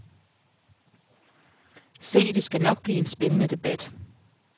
Se, det skal nok blive en spændende debat.